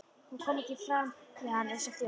Hún kom ekki fram við hann eins og þjón.